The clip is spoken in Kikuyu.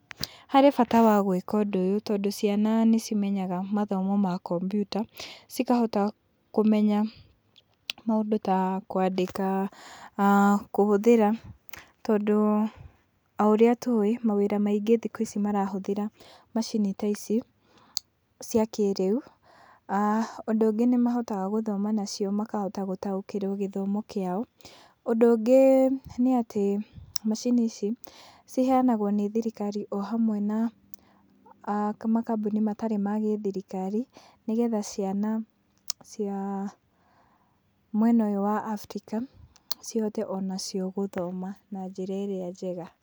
Harĩ bata wa gwĩka ũndũ ũyũ tondũ ciana nĩ cimenyaga mathomo ma kompyuta, cikahota kũmenya maũndũ ta kwandĩka, kũhũthĩra, tondũ o ũrĩa tũĩ, mawĩra maingĩ thikũ-ici marahũthĩra macini ta ici cia kĩrĩu, aah ũndũ ũngĩ nĩ mahotaga gũthoma nacio makahota gũtaũkĩrwo gĩthomo kĩao, ũndũ ũngĩ nĩatĩ macini ici ciheyanagwo nĩ thirikari o ũndũ ũmwe na makambuni matarĩ ma thirikari, nĩgetha ciana cia mwena ũyũ wa Afrika, cihote onacio gũthoma na njĩra ĩrĩa njega.